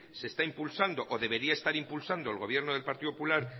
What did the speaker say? se está impulsando o debería estar impulsando el gobierno del partido popular